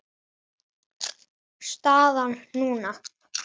Staðan núna?